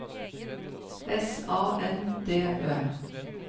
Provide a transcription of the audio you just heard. S A N D Ø